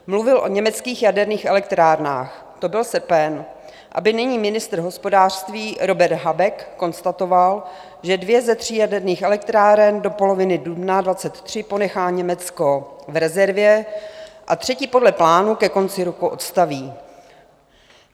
Mluvil o německých jaderných elektrárnách, to byl srpen, aby nyní ministr hospodářství Robert Habeck konstatoval, že dvě ze tří jaderných elektráren do poloviny dubna 2023 ponechá Německo v rezervě a třetí podle plánu ke konci roku odstaví.